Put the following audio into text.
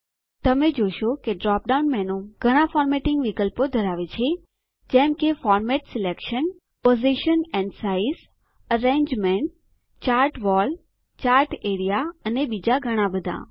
તમે જોશો કે ડ્રોપ ડાઉન મેનૂ ઘણા ફોર્મેટિંગ વિકલ્પો ધરાવે છે જેમ કે format selection position and size arrangement chart wall chart area અને બીજા ઘણા બધાં